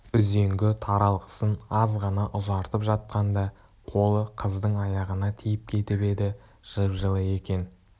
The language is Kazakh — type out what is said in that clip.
үзеңгі таралғысын аз ғана ұзартып жатқанда қолы қыздың аяғына тиіп кетіп еді жып-жылы екен